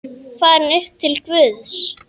Farin upp til Guðs.